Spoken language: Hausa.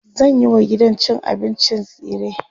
zanyi wa gidan cin abincin tsire